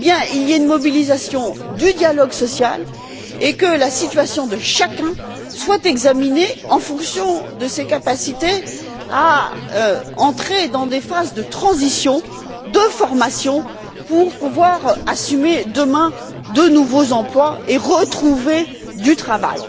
il y ait une mobilisation du dialogue social et que la situation de chacun soit examinée en fonction de ses capacités à entrer dans des phases de transition, de formation pour pouvoir assumer demain de nouveaux emplois et retrouver du travail.